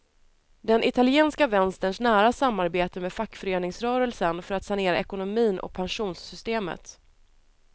Den italienska vänsterns nära samarbete med fackföreningsrörelsen för att sanera ekonomin och pensionssystemet.